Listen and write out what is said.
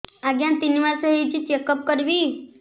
ଆଜ୍ଞା ତିନି ମାସ ହେଇଛି ଚେକ ଅପ କରିବି